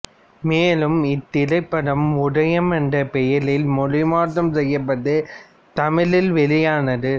மேலும் இத்திரைப்படம் உதயம் என்ற பெயரில் மொழி மாற்றம் செய்யப்பட்டு தமிழில் வெளியானது